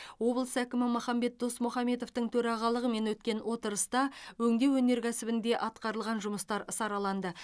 облыс әкімі махамбет досмұхамбетовтің төрағалығымен өткен отырыста өңдеу өнеркәсібінде атқарылған жұмыстар сараланды